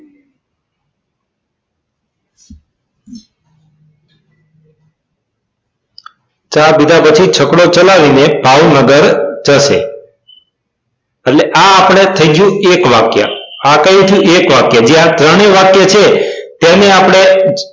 ચા પીધા પછી છકડો ચલાવીને ભાવનગર જશે એટલે આ આપડે થઇ ગયું એક વાક્ય આ કયું થયું એક વાક્ય બે આ ત્રણેય વાક્ય છે તેને આપણે